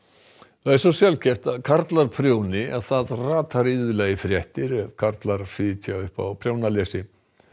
það er svo sjaldgæft að karlar prjóni að það ratar iðulega í fréttir ef karlar fitja upp á prjónlesi